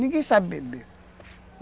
Ninguém sabe beber.